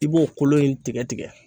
I b'o kolo in tigɛ tigɛ